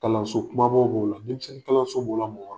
Kalanso kumabaw b'o la , denmisɛn kalaso b'o la , mɔgɔkɔrɔ